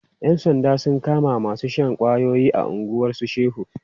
Yan sanda sun kama masu shan ƙwayoyi a unguwan su Shehu.